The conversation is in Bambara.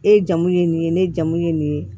E jamu ye nin ye ne jamu ye nin ye